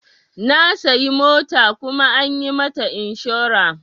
Na sayi mota kuma an yi mata inshora.